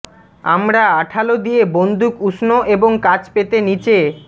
আমরা আঠালো দিয়ে বন্দুক উষ্ণ এবং কাজ পেতে নিচে